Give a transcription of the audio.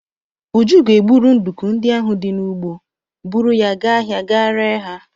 Uju ga-egburu nduku ndị ahụ di n'ugbo, buru ya gaa ahịa ga ree ha.